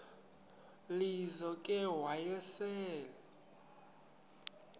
lizo ke wayesel